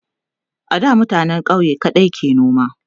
a da mutanen ƙauye kaɗai ke noma